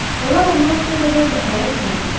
Onlar ondan o qədər də həya etməzdilər.